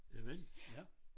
Javel ja